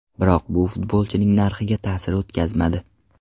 Biroq bu futbolchining narxiga ta’sir o‘tkazmadi.